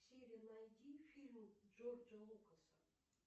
сири найди фильм джорджа лукаса